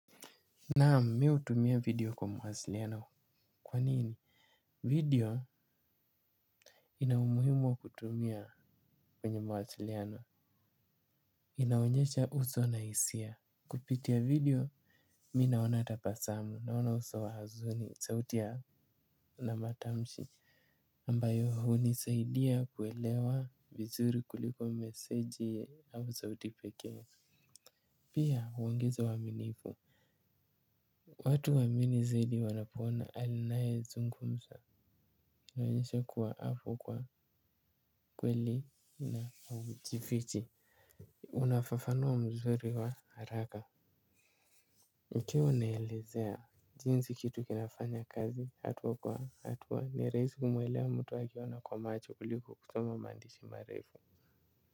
Naam mi hutumia video kwa mawasiliano kwa nini. Video ina umuhimu wa kutumia kwenye mawasiliano. Inaonyesha uso na hisia. Kupitia video mi naona tabasamu naona uso wa hazuni sauti na matamshi ambayo hunisaidia kuelewa vizuri kuliko meseji au sauti pekee. Pia huongeza uaminifu. Watu huamini zaidi wanapoona anayezungumza. Hunionyeshe kuwa hapo kwa kweli na haujifichi. Unafafanua mzuri wa haraka. Ikiwa unaelezea jinsi kitu kinafanya kazi hatua kwa hatua ni rahisi kumwelewa mtu akiona kwa macho kuliko kusoma maandishi marefu.